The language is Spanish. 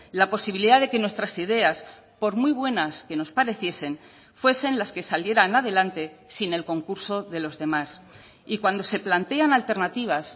la posibilidad de que nuestras ideas por muy buenas que nos pareciesen fuesen las que salieran adelante sin el concurso de los demás y cuando se plantean alternativas